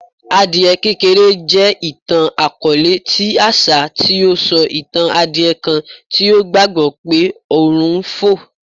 Adie kekere jẹ itan-akọọlẹ ti aṣa ti o sọ itan adie kan ti o gbagbọ pe ọrun n fo